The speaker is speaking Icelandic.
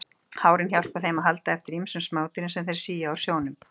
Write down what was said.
Hárin hjálpa þeim að halda eftir ýmsum smádýrum sem þeir sía úr sjónum.